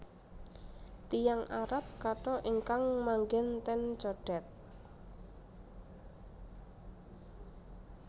Tiyang Arab katha ingkang manggen ten Condet